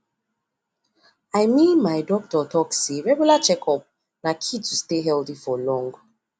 i mean my doctor talk say regular checkup na key to stay healthy for long